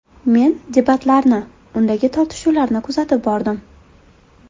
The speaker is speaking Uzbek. Men debatlarni, undagi tortishuvlarni kuzatib bordim.